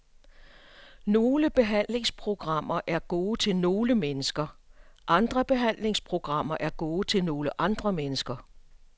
Nogle behandlingsprogrammer er gode til nogle mennesker, andre behandlingsprogrammer er gode til nogle andre mennesker.